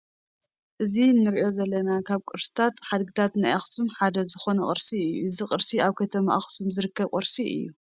እዚ እንርእዮ ዘለና ካብ ቅርስታትን ሓደግታትን ናይ ኣክሱም ሓደ ዝኮነ ቅርሲ እዩ። እዚ ቅርሲ ኣብ ከተማ ኣክሱም ዝርከብ ቅርሲ እዩ።